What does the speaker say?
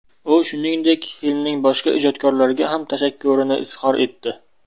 U, shuningdek, filmning boshqa ijodkorlariga ham tashakkurini izhor etdi.